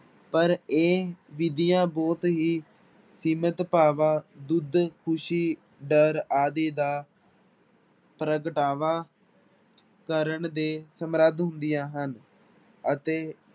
ਪਰ ਇਹ ਵਿਧੀਆਂ ਬਹੁਤ ਹੀ ਸੀਮਿਤ ਭਾਵਾਂ ਦੁੱਧ, ਖ਼ੁਸ਼ੀ, ਡਰ ਆਦਿ ਦਾ ਪ੍ਰਗਟਾਵਾ ਕਰਨ ਦੇ ਸਮਰਥ ਹੁੰਦੀਆਂ ਹਨ ਅਤੇ